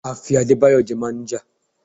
A fi Adébáyọ̀ jẹ máníjà.